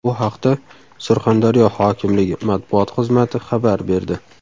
Bu haqda Surxondaryo hokimligi matbuot xizmati xabar berdi .